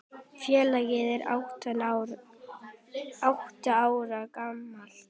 Félagið er átta ára gamalt.